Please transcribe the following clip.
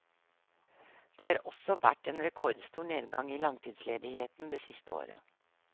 Det har også vært en rekordstor nedgang i langtidsledigheten det siste året.